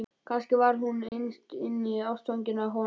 Kannski var hún innst inni ástfangin af honum.